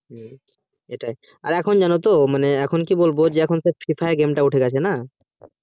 হম সেটাই এখুন যেন তো এখুন কি বলবো যে এখুন সব free fire টা উঠে গেছে না